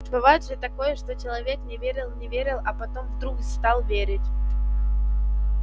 бывает же такое что человек не верил не верил а потом вдруг стал верить